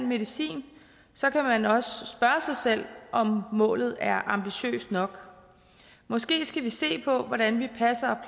medicin så kan man også spørge sig selv om målet er ambitiøst nok måske skal vi se på hvordan vi passer